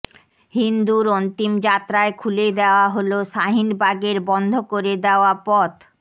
হিন্দুর অন্তিম যাত্রায় খুলে দেওয়া হল শাহিনবাগের বন্ধ করে দেওয়া পথ